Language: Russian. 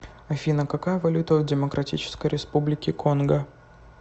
афина какая валюта в демократической республике конго